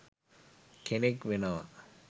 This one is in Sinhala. කෙනෙක් වෙනවා.